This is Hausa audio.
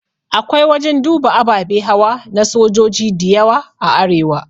Akwai wajan duba ababe hawa na sojoji diyawa a arewa